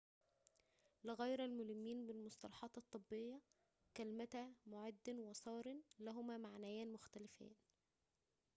لغير الملمّين بالمصطلحات الطبّيّة كلمتا معدٍ وسارٍ لهما معنيان مختلفتان